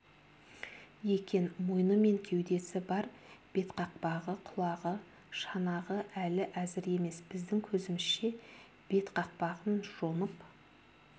екен мойны мен кеудесі бар бетқақпағы құлағы шанағы әлі әзір емес біздің көзімізше бетқақпағын жонып